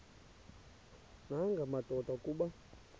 nanga madoda kuba